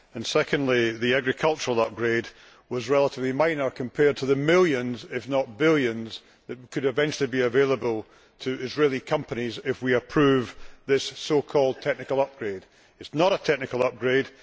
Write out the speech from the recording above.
Secondly, the agricultural upgrade was relatively minor compared to the millions, if not billions, that could eventually be available to Israeli companies if we approve this so called technical upgrade'. It is not a technical upgrade'.